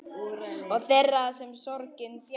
Og þeirra sem sorgin þjakar.